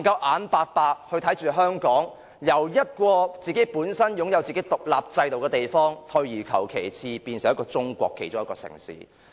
我們不可以看着香港由一個本來擁有獨立制度的地方，退化成中國其中一個城市。